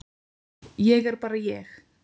Ég er bara ég.